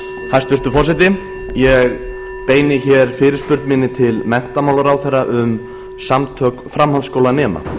hæstvirtur forseti ég beini hér fyrirspurn minni til menntamálaráðherra um samtök framhaldsskólanema